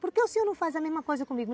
Por que o senhor não faz a mesma coisa comigo?